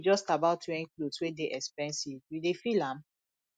no be just about wearing cloth wey dey expensive you dey feel am